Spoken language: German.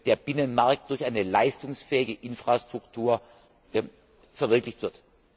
der Binnenmarkt durch eine leistungsfähige Infrastruktur verwirklicht wird.